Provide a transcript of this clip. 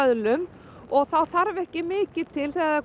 vöðlum og þá þarf ekki mikið til þegar